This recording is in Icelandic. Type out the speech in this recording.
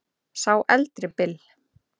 Sá eldri Bill.